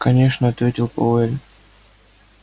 конечно ответил пауэлл